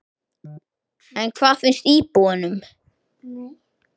En hvað finnst íbúunum?